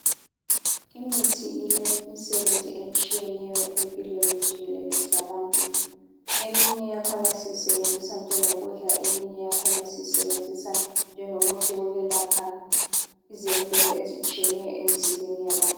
Imithi ilemisebenzi etshiyeneyo empilweni jikelele zabantu eminye yakhona siyisebenzisa njengokudla eminye yakhona siyisebenzisa njengomuthi yokwelapha izeluleko ezitshiyeneyo empilweni yabantu.